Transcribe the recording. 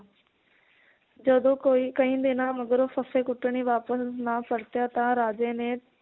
ਜਦੋ ਕੋਈ ਕਈ ਦਿਨਾਂ ਮਗਰੋਂ ਫੱਫੇ ਕੁੱਟਣੀ ਵਾਪਿਸ ਨਾ ਪਰਤਿਆ ਤਾਂ ਰਾਜੇ ਨੇ